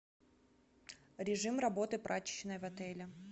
режим работы прачечной в отеле